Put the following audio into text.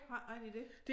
Har ikke ret i det